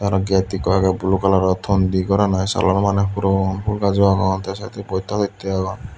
gate ekko agey blue colour thon di goran oley salano maneh puron fhol gajo agon tey saidodi bosta tosta o agon.